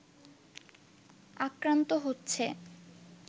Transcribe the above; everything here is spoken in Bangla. আক্রান্ত হচ্ছে